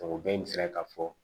Ɔ bɛɛ n'i sera k'a fɔ